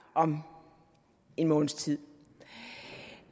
om en måneds tid